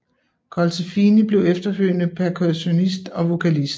Colsefini blev efterfølgende percussionist og vokalist